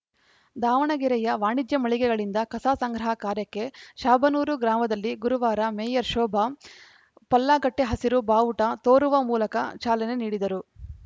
ದಾವಣಗೆರೆಯ ವಾಣಿಜ್ಯ ಮಳಿಗೆಗಳಿಂದ ಕಸ ಸಂಗ್ರಹ ಕಾರ್ಯಕ್ಕೆ ಶಾಬನೂರು ಗ್ರಾಮದಲ್ಲಿ ಗುರುವಾರ ಮೇಯರ್‌ ಶೋಭಾ ಪಲ್ಲಾಗಟ್ಟೆಹಸಿರು ಬಾವುಟ ತೋರುವ ಮೂಲಕ ಚಾಲನೆ ನೀಡಿದರು